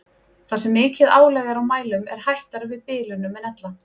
Þar sem mikið álag er á mælum er hættara við bilunum en ella.